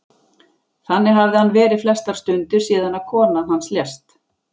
Þannig hafði hann verið flestar stundir síðan að kona hans lést.